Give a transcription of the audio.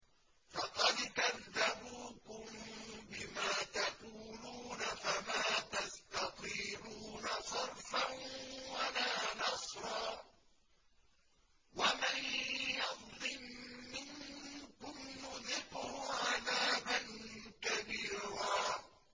فَقَدْ كَذَّبُوكُم بِمَا تَقُولُونَ فَمَا تَسْتَطِيعُونَ صَرْفًا وَلَا نَصْرًا ۚ وَمَن يَظْلِم مِّنكُمْ نُذِقْهُ عَذَابًا كَبِيرًا